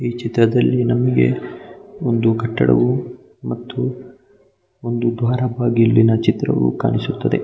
ಈ ಚಿತ್ರದಲ್ಲಿ ನಮಗೆ ಒಂದು ಕಟ್ಟಡವು ಮತ್ತು ಒಂದು ದ್ವಾರ ಬಾಗಿಲಿನ ಚಿತ್ರವೂ ಕಾಣಿಸುತ್ತದೆ .